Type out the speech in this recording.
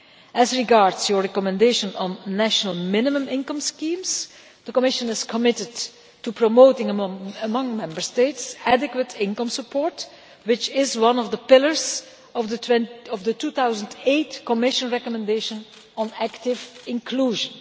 As regards your recommendations on national minimum income schemes, the Commission is committed to promoting among Member States adequate income support, which is one of the pillars of the 2008 Commission recommendation on active inclusion.